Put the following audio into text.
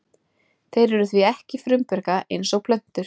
Þeir eru því ekki frumbjarga eins og plöntur.